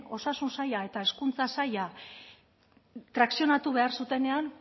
osasun saila eta hezkuntza saila trakzionatu behar zutenean